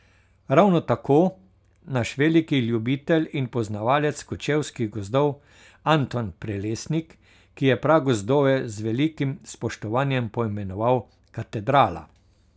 Ravno tako, naš veliki ljubitelj in poznavalec kočevskih gozdov, Anton Prelesnik, ki je pragozdove z velikim spoštovanjem poimenoval Katedrala.